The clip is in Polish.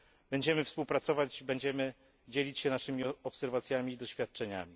Będziemy współpracować i dzielić się naszymi obserwacjami i doświadczeniami.